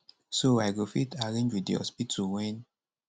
so i go fit arrange wit di hospital wen